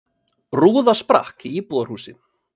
Rúða sprakk í íbúðarhúsi